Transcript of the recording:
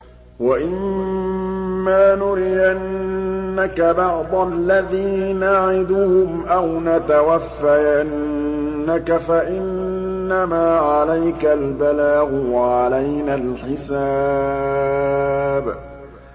وَإِن مَّا نُرِيَنَّكَ بَعْضَ الَّذِي نَعِدُهُمْ أَوْ نَتَوَفَّيَنَّكَ فَإِنَّمَا عَلَيْكَ الْبَلَاغُ وَعَلَيْنَا الْحِسَابُ